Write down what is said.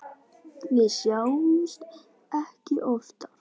Við sjáumst ekki oftar.